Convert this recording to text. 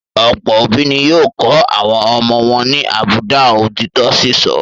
Ọ̀pọ̀ òbí ni yóò kọ́ àwọn ọmọ wọn ní àbùdá òtítọ́ sísọ.